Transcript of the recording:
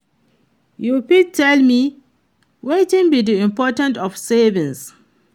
You fit tell me wetin be di importance of saving?